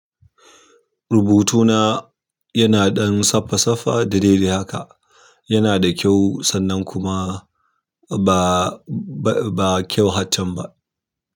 Rubutuna yana ɗan saffa-saffa da dai dai haka. Yana da kyau sannan kuma ba, ba kyau har chan ba.